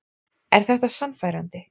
Er þetta sannfærandi?